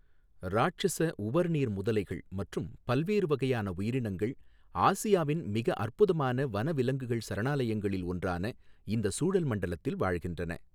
ராட்சஸ உவர் நீர் முதலைகள் மற்றும் பல்வேறு வகையான உயிரினங்கள் ஆசியாவின் மிக அற்புதமான வனவிலங்குகள் சரணாலயங்களில் ஒன்றான இந்தச் சூழல் மண்டலத்தில் வாழ்கின்றன.